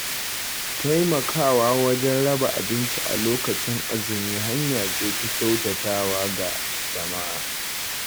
Taimakawa wajen raba abinci a lokacin azumi hanya ce ta kyautata wa ga jama’a.